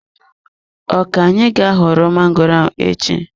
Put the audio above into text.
Ọ ka-anyị ga ghọrọ magoro ahụ echi.